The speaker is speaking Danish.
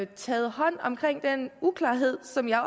taget hånd om den uklarhed som jeg